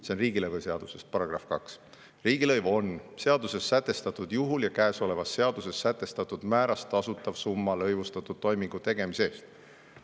See on riigilõivuseaduse § 2: "Riigilõiv on seaduses sätestatud juhul ja käesolevas seaduses sätestatud määras tasutav summa lõivustatud toimingu tegemise eest.